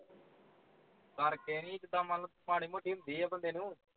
ਕਰ ਕੇ ਨਹੀਂ ਮਤਲਬ ਜ਼ਿੰਦਾ ਹੁੰਦੀ ਹੈ ਮਾੜੀ ਮੋਟੀ ਬੰਦੇ ਨੂੰ